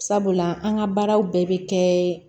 Sabula an ka baaraw bɛɛ bɛ kɛ